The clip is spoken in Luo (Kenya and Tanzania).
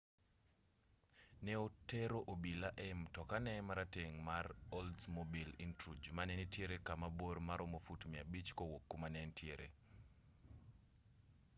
ne otero obila ei mtokane marateng' mar oldsmobile intruge mane nitiere kama bor maromo fut 500 kowuok kama ne entiere